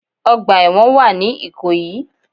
Ọgbà èwọ̀n wà ní ìkòyí